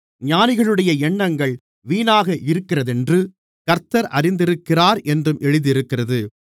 ஞானிகளுடைய எண்ணங்கள் வீணாக இருக்கிறதென்று கர்த்தர் அறிந்திருக்கிறாரென்றும் எழுதியிருக்கிறது